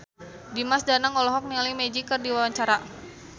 Dimas Danang olohok ningali Magic keur diwawancara